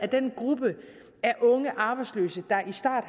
den gruppe af unge arbejdsløse der i start